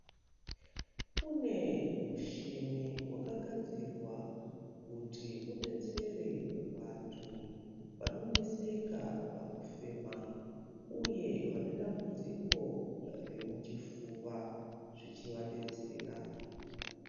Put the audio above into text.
Kune mushini wakagadzirwa kuti udetsere vantu vanoneseka pakufema, uye vane dambudziko remuchifuva zvechivadetsera.